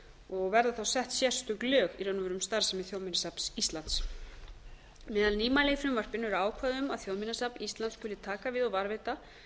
áðan verða þá sett sérstök lög í raun og veru um starfsemi þjóðminjasafns íslands meðal nýmæla í frumvarpinu eru ákvæði um að þjóðminjasafn íslands skuli taka við og varðveita